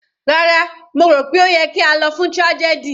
Rárá, mo rò pé ó yẹ kí a lọ fún tragedy.